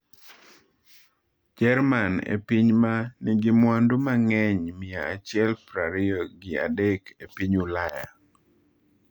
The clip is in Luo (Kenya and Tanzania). Jerman e piny ma nigi mwandu mang’eny mia achiel prariyo gi adek e piny Ulaya.